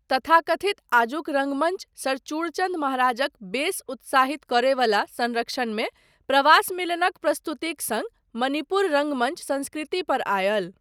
तथाकथित आजुक रङ्गमञ्च सर चूड़चन्द महराजक बेस उत्साहित करयबला संरक्षणमे प्रवास मिलनक प्रस्तुतिक सङ्ग मणिपुर रङ्गमञ्च संस्कृति पर आयल।